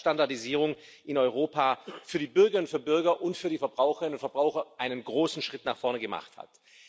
Er zeigt, dass die Standardisierung in Europa für die Bürgerinnen und Bürger und für die Verbraucherinnen und Verbraucher einen großen Schritt nach vorne gemacht hat.